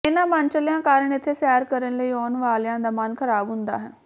ਇਨ੍ਹਾਂ ਮਨਚਲਿਆਂ ਕਾਰਨ ਇੱਥੇ ਸੈਰ ਕਰਨ ਆਉਣ ਵਾਲਿਆਂ ਦਾ ਮਨ ਖਰਾਬ ਹੁੰਦਾ ਹੈ